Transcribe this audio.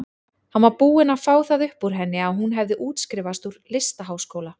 Hann var búinn að fá það upp úr henni að hún hefði útskrifast úr listaháskóla.